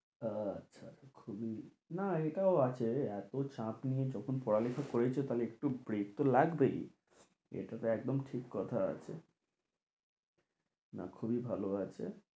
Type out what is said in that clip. আচ্ছা খুবই না এটাও আছে এতো চাপ নিয়ে যখন পড়ালেখা করেইছো তাহলে একটু break তো লাগবেই এটাতো একদম ঠিক কথা আছে না খুবই ভালো আছে